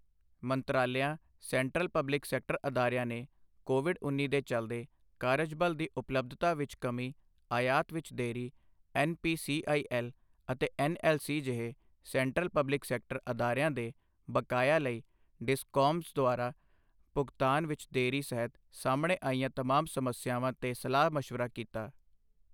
ਮੰਤਰਾਲਿਆਂ central public sector ਅਦਾਰਿਆਂ ਨੇ Covid ਉੱਨੀ ਦੇ ਚੱਲਦੇ ਕਾਰਜਬਲ ਦੀ ਉਪਲਬਧਤਾ ਵਿੱਚ ਕਮੀ, ਆਯਾਤ ਵਿੱਚ ਦੇਰੀ, N P C I L ਅਤੇ ਐੱਨ ਐੱਲ ਸੀ ਜਿਹੇ ਸੈਂਟਰਲ ਪਬਲਿਕ ਸੈਕਟਰ ਅਦਾਰਿਆਂ ਦੇ ਬਕਾਇਆਂ ਲਈ ਡਿਸਕੌਮਸ ਦੁਆਰਾ ਭੁਗਤਾਨ ਵਿੱਚ ਦੇਰੀ ਸਹਿਤ ਸਾਹਮਣੇ ਆਈਆਂ ਤਮਾਮ ਸਮੱਸਿਆਵਾਂ ਤੇ ਸਲਾਹ ਮਸ਼ਵਰਾ ਕੀਤਾ।